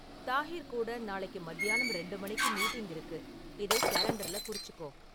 தாஹிர் கூட நாளைக்கு மத்தியானம் ரெண்டு மணிக்கு மீட்டிங் இருக்கு இதைக் கேலண்டர்ல குறிச்சுக்கோ